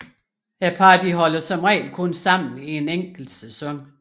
Parrene holder som regel kun sammen i en enkelt sæson